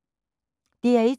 DR1